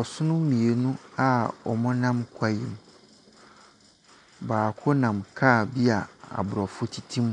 Ɔsono mmienu a wɔnam kwaeɛ mu. Baako nam car bi a Aborɔfo tete mu,